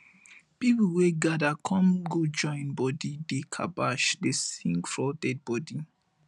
pipol wey gada kom go join bodi dey kabash dey sing for dead bodi